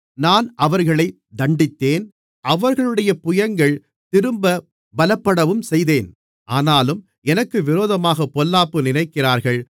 நான் அவர்களைத் தண்டித்தேன் அவர்களுடைய புயங்கள் திரும்பப் பலப்படவும்செய்தேன் ஆனாலும் எனக்கு விரோதமாகப் பொல்லாப்பு நினைக்கிறார்கள்